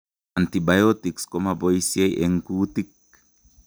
Antibiotics koma boiisie eng' kuutik